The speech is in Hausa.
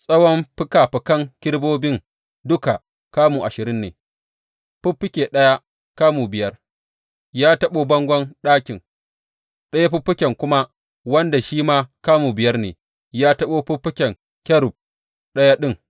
Tsawon fikafikan kerubobin duka kamu ashirin ne, fiffike ɗaya, kamu biyar, ya taɓo bangon ɗakin, ɗaya fiffiken kuma wanda shi ma kamu biyar ne, ya taɓo fiffiken kerub ɗaya ɗin.